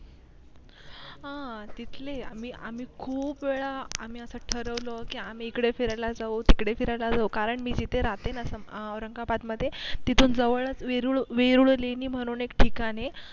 हा तिथली आम्ही आम्ही खूप वेळा आम्ही असं ठरवलं के आम्ही इकडे फिरायला जाऊ तिकडे फिरायला जाऊ कारण मी जिथे राहते ना औरंगाबाद मध्ये तिथून जवळच वेरूळ वेरूळ लेणी म्हणून एक ठिकाण ए